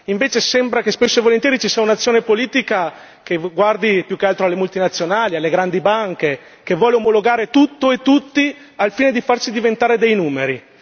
Invece, sembra esservi spesso e volentieri un'azione politica che guarda più che altro alle multinazionali, alle grandi banche e e vuole omologare tutto e tutti, al fine di farci diventare dei numeri.